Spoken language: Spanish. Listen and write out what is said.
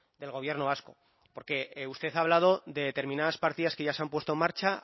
del gobierno vasco porque usted ha hablado de determinadas partidas que ya se han puesto en marcha